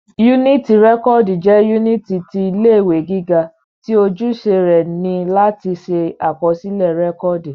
Yúnìtì rẹ́kọ̀dù jẹ́ yúnìtì ti ilé ìwé gíga tí ojúṣe rẹ ni láti ṣe àkọsílẹ̀ rẹ́kọ̀dù